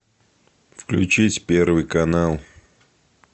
включить первый канал